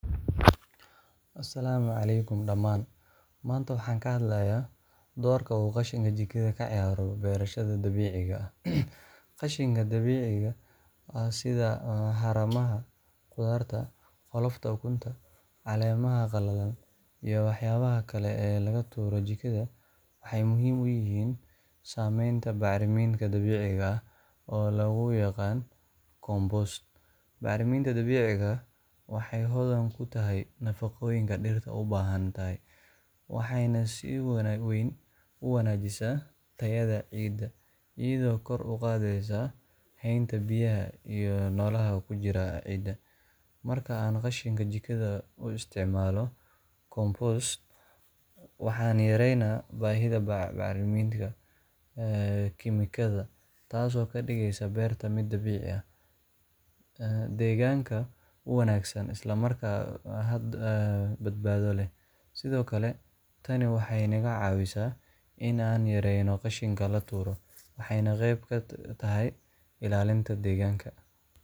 Assalaamu caleykum dhamaan maanta waxaan ka hadlayaa doorka uu qashinka jikada ka ciyaaro beerashada dabiiciga qashinka dabiiciga ah sidaa xarumaha qudaarta qolofka ukunta caleemaha qallalan iyo waxyaabaha kale ee laga tuuro jikada waxay muhiim u yihiin sameynta bacriminta dabiiciga oo lagu yaqan compost Bacriminta dabiiciga waxay Hodan ku tahay nafaqooyinka dhirta u baahanatahay Waxayna sii wanaag weyn u wanaajisaa tayada ciidda iyadoo kor u qaadaysa haynta biyaha iyo noolaha ku jira cidda marka aan qashinka jikada lagu isticmaalo compost Waxaan yaraynaynaa baahida bacriminta kiimikada taasoo ka dhigayso beerta mida biixi ah deegaanka wanaagsan islamarkaana hadda badbaado leh sidoo kale tani waxay naga caawisaa in aan yareyno qashinka la tuuro maxayna qeyb katahay illalinta deegaanka.